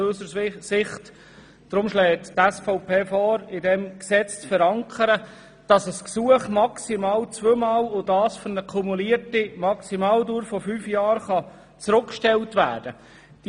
Deshalb schlägt Ihnen die SVP vor, in diesem Gesetz zu verankern, dass ein Gesuch maximal und für eine kumulierte Maximaldauer von fünf Jahren zurückgestellt werden kann.